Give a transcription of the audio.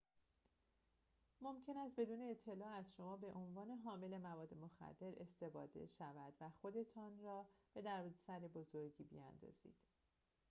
ممکن است بدون اطلاع از شما به عنوان حامل مواد مخدر استفاده شود و خودتان را به دردسر بزرگی بیاندازید